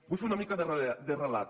vull fer una mica de relat